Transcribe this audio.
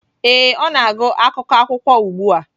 Ee, ọ na-agụ akwụkwọ akụkọ ugbu a.